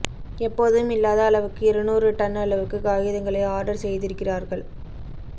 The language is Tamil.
எப்போதும் இல்லாத அளவுக்கு இருநூறு டன் அளவுக்குக் காகிதங்களை ஆர்டர் செய்திருக்கிறார்கள்